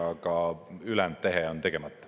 Aga ülejäänud tehe on tegemata.